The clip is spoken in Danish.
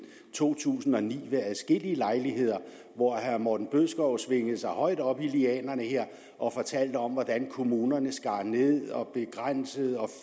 to tusind og ni ved adskillige lejligheder hvor herre morten bødskov svingede sig højt op i lianerne og fortalte om hvordan kommunerne skar ned begrænsede